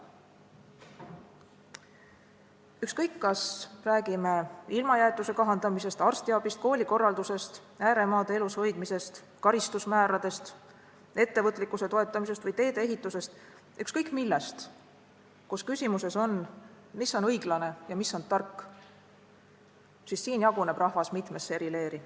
Ükskõik, kas räägime ilmajäetuse kahandamisest, arstiabist, koolikorraldusest, ääremaade elus hoidmisest, karistusmääradest, ettevõtlikkuse toetamisest või teedeehitusest – ükskõik millest, kus küsimuses on, mis on õiglane ja mis on tark –, jaguneb rahvas mitmesse leeri.